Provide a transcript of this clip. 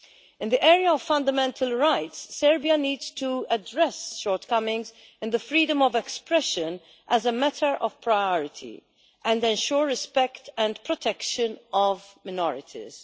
In the area of fundamental rights, Serbia needs to address shortcomings in the freedom of expression as a matter of priority and ensure respect and protection of minorities.